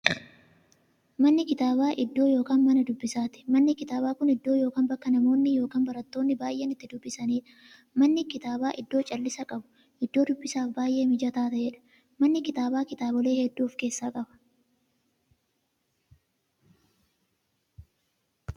Manni kitaabaa iddoo yookiin Mana dubbisaati. Manni kitaabaa Kun iddoo yookiin bakka namoonni yookiin baratoonni baay'een itti dubbisaniidha. Manni kitaabaa iddoo callisa qabu, iddoo dubbisaaf baay'ee mijataa ta'eedha. Manni kitaabaa kitaabolee hedduu of keessaa qaba.